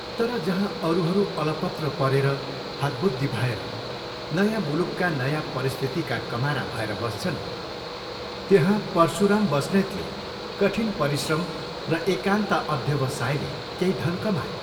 तर जहाँ अरूहरू अलपत्र परेर, हतबुद्धि भएर, नयाँ मुलुकका नयाँ परिस्थितिका कमारा भएर बस्छन् त्यहाँ परशुराम बस्नेतले कठिन परिश्रम र एकान्त अध्यवसायले केही धन कमाए।